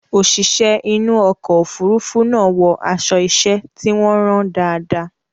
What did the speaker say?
Òṣìṣẹ́ inú ọkọ̀ òfurufú náà wọ aṣọ iṣẹ́ tí wọ́n rán dáadáa.